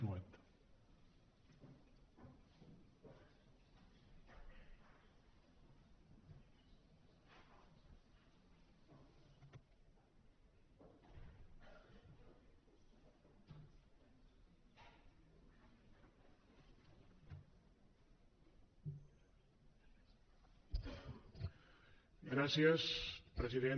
gràcies president